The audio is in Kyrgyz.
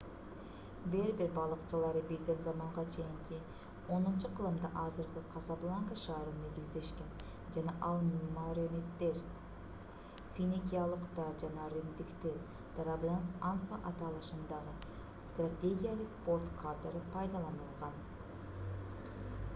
бербер балыкчылары биздин заманга чейинки 10-кылымда азыркы касабланка шаарын негиздешкен жана ал мерениддер финикиялыктар жана римдиктер тарабынан анфа аталышындагы стратегиялык порт катары пайдаланылган